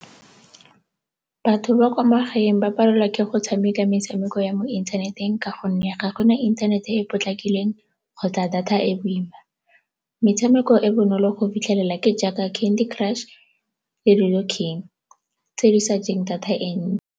Batho ba kwa magaeng ba palelwa ke go tshameka metshameko ya mo inthaneteng ka gonne ga go na inthanete e e potlakileng kgotsa data e e boima. Metshameko e e bonolo go fitlhelelwa ke jaaka candy crush le tse di sa jeng data e ntsi.